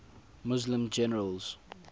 muslim generals